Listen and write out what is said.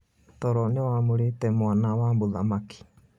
Toro nĩwa mũrĩte mwana wa mũthamaki.